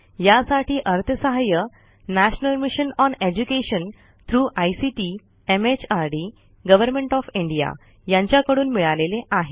यासाठी अर्थसहाय्य national mission on education through ICT MHRD government of India यांच्याकडून मिळालेले आहे